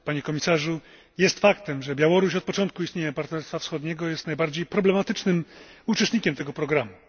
Panie Komisarzu! Jest faktem, że Białoruś od początku istnienia Partnerstwa Wschodniego jest najbardziej problematycznym uczestnikiem tego programu.